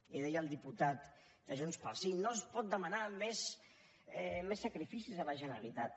i deia el diputat de junts pel sí no es poden demanar més sacrificis a la generalitat